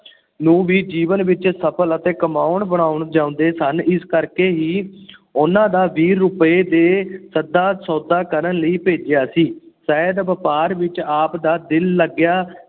ਨੂੰ ਵੀ ਜੀਵਨ ਵਿਚ ਸਫਲ ਤੇ ਕਮਾਉਣ ਬਣਾਉਣ ਚਾਹੁੰਦੇ ਸਨ । ਇਸ ਕਰਕੇ ਹੀ ਉਨਾਂ ਦਾ ਵੀਹ ਰੁਪਏ ਦੇ ਸੱਚਾ ਸੌਦਾ ਕਰਨ ਲਈ ਭੇਜਿਆ ਸੀ। ਸ਼ਾਇਦ ਵਪਾਰ ਵਿਚ ਆਪ ਦਾ ਦਿਲ ਲੱਗ ਗਿਆ।